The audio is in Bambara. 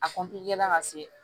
A ka se